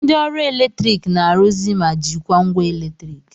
Ndị ọrụ eletrik na-arụzi ma jikwaa ngwa eletriki